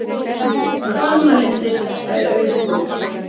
Hvannalindir, sagði Auðunn.